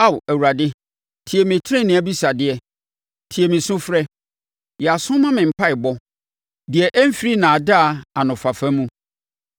Ao, Awurade tie me tenenee abisadeɛ; tie me sufrɛ. Yɛ aso ma me mpaeɛbɔ deɛ ɛmfiri nnaadaa anofafa mu.